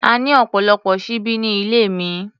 A ní ọ̀pọ̀lọpọ̀ ṣíbí ní ilé mi.